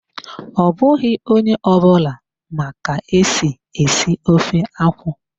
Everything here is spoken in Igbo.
Ọ bụghị onye ọ bụla ma ka-esi esi ofe akwụ.